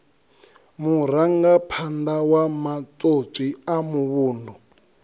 murangaphanḓa wa matswotswi a muvhundu